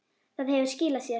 Það hefur skilað sér.